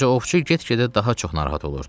Ancaq ovçu get-gedə daha çox narahat olurdu.